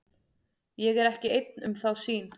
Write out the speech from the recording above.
Ég er ekki einn um þá sýn.